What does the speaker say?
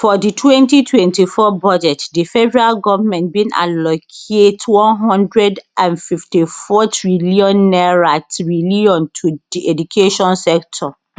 for di twenty twenty four budget di federal goment bin allocate one hundred and fifty four trillion trillion to di education sector